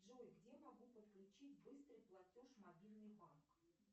джой где могу подключить быстрый платеж мобильный банк